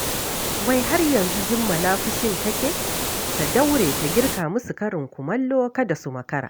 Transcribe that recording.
Wai har yanzu Jummala fushin take? Ta daure ta girka musu karin kumallo kada su makara